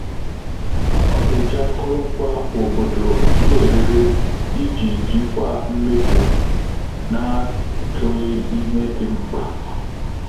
Ọ́ nà-éjí ákụ́rụ́ngwá òbòdò n’érééré ìjí jíkwáá mméfù nà-áchụ́ghị́ íhé dị́ mkpà.